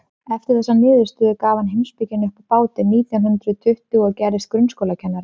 eftir þessa niðurstöðu gaf hann heimspekina upp á bátinn nítján hundrað tuttugu og gerðist grunnskólakennari